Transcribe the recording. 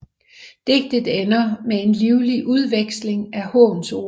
Digtet ender med en livlig udveksling af hånsord